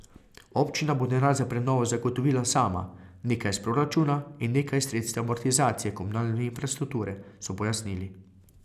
Občina bo denar za prenovo zagotovila sama, nekaj iz proračuna in nekaj iz sredstev amortizacije komunalne infrastrukture, so pojasnili.